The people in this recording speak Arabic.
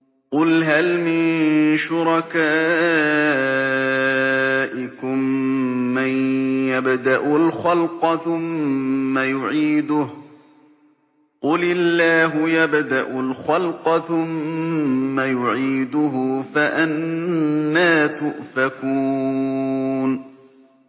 قُلْ هَلْ مِن شُرَكَائِكُم مَّن يَبْدَأُ الْخَلْقَ ثُمَّ يُعِيدُهُ ۚ قُلِ اللَّهُ يَبْدَأُ الْخَلْقَ ثُمَّ يُعِيدُهُ ۖ فَأَنَّىٰ تُؤْفَكُونَ